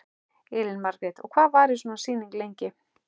Elín Margrét: Og hvað varir svona sýning lengi?